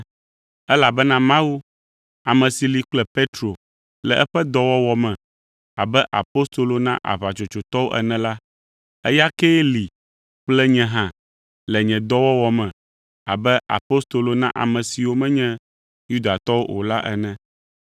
Elabena Mawu, ame si li kple Petro le eƒe dɔwɔwɔ me abe apostolo na aʋatsotsotɔwo ene la, eya kee li kple nye hã le nye dɔwɔwɔ me abe apostolo na ame siwo menye Yudatɔwo o la ene.